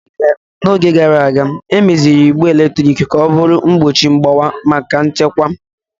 N'oge gara aga, emeziri igbe eletrik ka ọ bụrụ mgbochi mgbawa maka nchekwa.